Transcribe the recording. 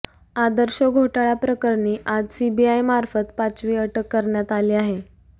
आदर्श घोटाळ्याप्रकरणी आज सीबीआयमार्फत पाचवी अटक करण्यात आली आहे